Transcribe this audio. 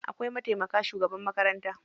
Akwai mataimakin shugaban makaranta.